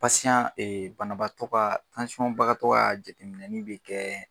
banabagatɔ ka ka jateminini bɛ kɛ.